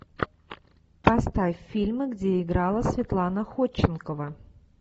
поставь фильмы где играла светлана ходченкова